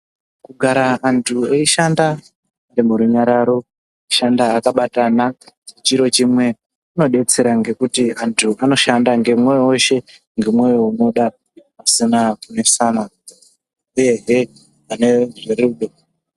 Kugara antu eishanda murunyararo ushanda akabatana chiro chimwe kunodetsera ngekuti antu anoshanda ngemwoyo weshe ngemwoyo unoda pasina kunesana uye hepanerudo.